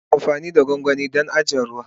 Ana amfani da gwangwani don adana ruwa.